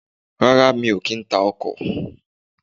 Rárá, mi ò kì í ta ọkọ̀.